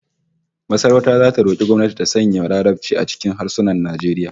Masarauta zata roki gwamnati ta sanya Larabci a cikin harsunan Najeriya